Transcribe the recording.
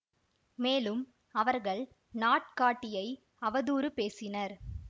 மேலும் அவர்கள் நாட்காட்டியை அவதூறு பேசினர்